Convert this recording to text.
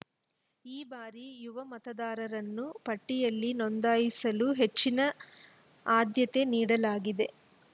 ಈ ಬಾರಿ ಯುವ ಮತದಾರರನ್ನು ಪಟ್ಟಿಯಲ್ಲಿ ನೋಂದಾಯಿಸಲು ಹೆಚ್ಚಿನ ಆದ್ಯತೆ ನೀಡಲಾಗಿದೆ